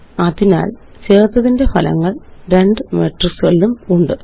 അതിനാല് ചേര്ത്തതിന്റെ ഫലങ്ങള് രണ്ട് മെട്രിക്സുകളിലുമുണ്ട്